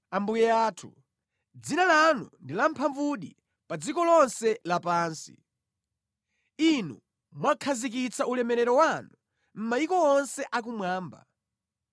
Inu Yehova Ambuye athu, dzina lanu ndi la lamphamvudi pa dziko lonse lapansi! Inu mwakhazikitsa ulemerero wanu mʼmayiko onse akumwamba.